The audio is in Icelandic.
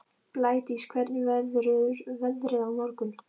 Blædís, hvernig verður veðrið á morgun?